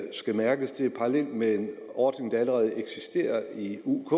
skal mærkes det er parallelt med en ordning der allerede eksisterer i uk